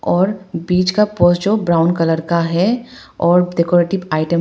और बीच का पोज जो ब्राऊन कलर का है और डेकोरेटिव आईटम --